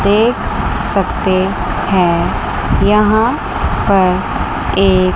देख सकते हैं यहां पर एक--